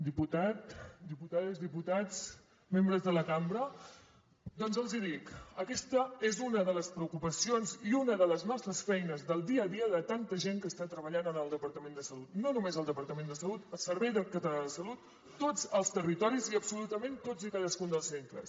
diputat diputades diputats membres de la cambra doncs els hi dic aquesta és una de les preocupacions i una de les nostres feines del dia a dia de tanta gent que està treballant al departament de salut no només al departament de salut al servei català de la salut a tots els territoris i absolutament tots i cadascun dels centres